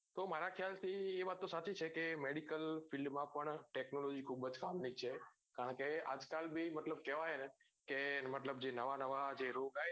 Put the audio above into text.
તો મારા ખ્યાલ થી એ વાત તો સાચી છે કે medical field માં પણ technology ખુબજ કામની છે કારણ કે આજ કાલ ભીઓ મતલબ કેવાય ને કે નવા નવા જે રોગ આયા ને